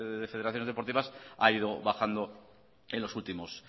de federaciones deportivas ha ido bajando en los últimos